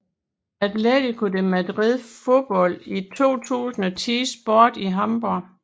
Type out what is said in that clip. Atletico de Madrid Fodbold i 2010 Sport i Hamborg